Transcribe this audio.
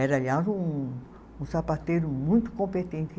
Era, aliás, um um sapateiro muito competente.